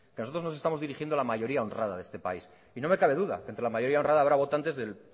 nosotros nos estamos dirigiendo a la mayoría honrada de este país y no me cabe duda que entre la mayoría honrada habrá votantes del